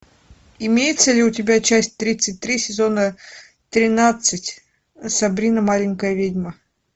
имеется ли у тебя часть тридцать три сезона тринадцать сабрина маленькая ведьма